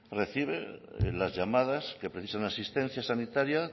reciben las llamadas que precisan asistencia sanitaria